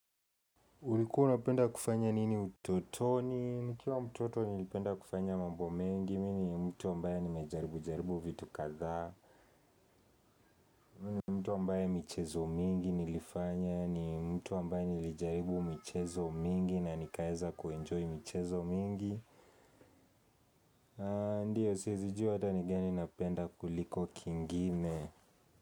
Ulikuwa unapenda kufanya nini utotoni? Nikiwa mtoto nilipenda kufanya mambo mengi, mi ni mtu ambaye nimejaribu jaribu vitu kadhaa, mi ni mtu ambaye michezo mingi nilifanya, ni mtu ambaye nilijaribu michezo mingi na nikaeza kuenjoy michezo mingi, ndio siwezi jua hata ni gani napenda kuliko kingine.